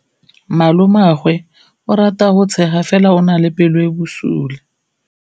Malomagwe o rata go tshega fela o na le pelo e e bosula.